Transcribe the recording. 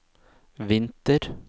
vinter